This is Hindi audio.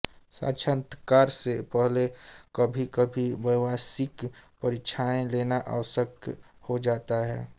साक्षात्कार से पहले कभीकभी व्यावसायिक परीक्षाएँ लेना आवश्यक हो जाता है